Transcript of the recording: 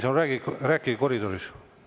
Härra Reinsalu, rääkige koridoris.